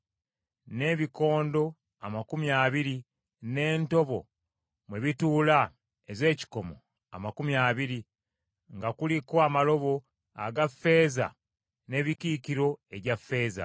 n’ebikondo amakumi abiri, n’entobo mwe bituula ez’ekikomo amakumi abiri, nga kuliko amalobo aga ffeeza n’emikiikiro egya ffeeza.